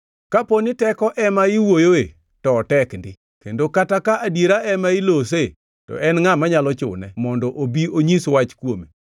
Kaponi teko ema iwuoyoe, to otek ndi, kendo kata ka adiera ema ilose, to en ngʼa manyalo chune mondo obi onyis wach kuome.